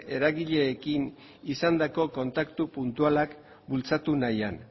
eragileekin izandako kontaktu puntualak bultzatu nahian